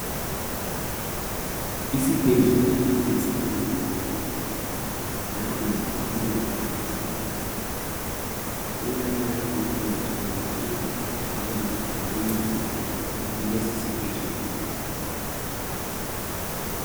Isibhedlela esikhulu. Nangu umongikazi, ulabantu abangezwa kuhle abazodinga uncedo kulesi sibhedlela.